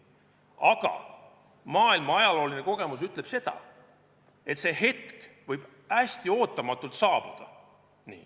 Aga maailmaajalooline kogemus ütleb seda, et see hetk võib hästi ootamatult saabuda.